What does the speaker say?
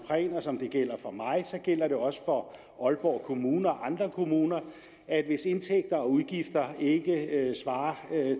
for mig så gælder det også for aalborg kommune og andre kommuner at hvis indtægter og udgifter ikke svarer